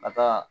Ka taa